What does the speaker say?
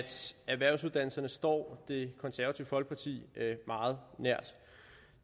erhvervsuddannelserne står det konservative folkeparti meget nært